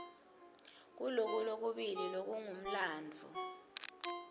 kuloku lokubili lekungumlandvo